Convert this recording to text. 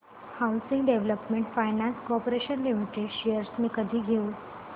housing development finance corporation limited shares मी कधी घेऊ